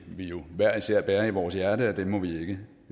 hver især bærer i vores hjerte at den må vi ikke